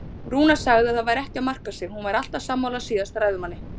Rúna sagði að það væri ekki að marka sig, hún væri alltaf sammála síðasta ræðumanni.